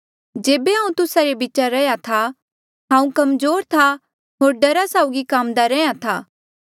जेबे हांऊँ तुस्सा रे बीच रैंहयां था हांऊँ कमजोर था होर डरा साउगी काम्दा रैंहयां था